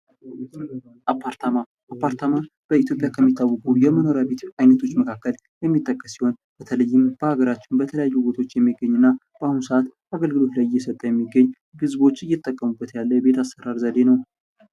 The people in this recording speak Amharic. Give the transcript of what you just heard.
አፓርታማ፤ አፓርታማ በኢትዮጵያ ከሚታወቁ የመኖሪያ ቤቶች አይነቶች መካከለ የሚጠቀስ ሲሆን በተለይም በአገራችን በተለያዩ ቦታዎች የሚገኙ እና በአሁኑ ሰዓት አገልግሎት ላይ የሰጠ የሚገኝ ህዝቦች የተጠቀሙበት ያለ የቤት አሰራር ዘዴ ነው።